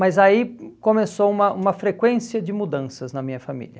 Mas aí começou uma uma frequência de mudanças na minha família.